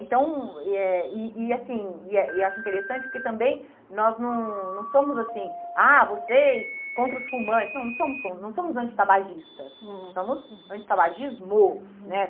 Então, e eh e e assim, e eh eu acho interessante porque também nós não não somos assim, ah, vocês contra os fumantes, não não somos não somos anti-tabagistas, uhum, somos anti-tabagismo, né?